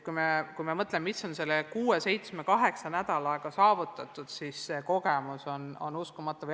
Kui me mõtleme, mis selle kuue-seitsme-kaheksa nädalaga on saavutatud, siis näeme, et see kogemus on uskumatu.